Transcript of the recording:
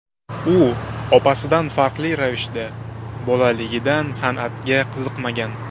U opasidan farqli ravishda bolaligidan san’atga qiziqmagan.